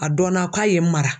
A dɔnna ko a ye n mara.